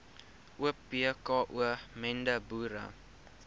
opko mende boere